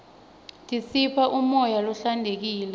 tisipha umoya lohlantekile